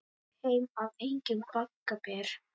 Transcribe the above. Heim af engjum bagga ber.